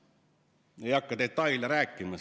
Ei hakka siin kõike detaile rääkima.